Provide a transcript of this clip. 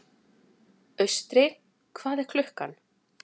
Austri, hvað er klukkan?